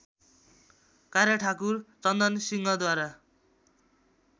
कार्य ठाकुर चन्दनसिंहद्वारा